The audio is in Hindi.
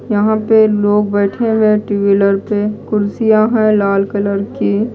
यहां पे लोग बैठे हुए हैं टू व्हीलर पे कुर्सियां हैं लाल कलर की--